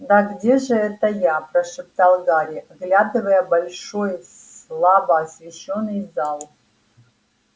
да где же это я прошептал гарри оглядывая большой слабо освещённый зал